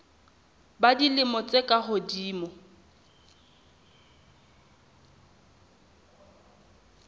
ba dilemo tse ka hodimo